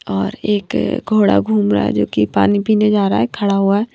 और एक घोड़ा घूम रहा है जोकी पानी पीने जा रहा है खड़ा हुआ है।